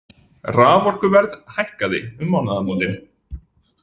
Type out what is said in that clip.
Raforkuverð hækkaði um mánaðamótin